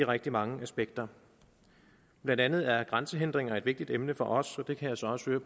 rigtig mange aspekter blandt andet er grænsehindringer et vigtigt emne for os og jeg kan så også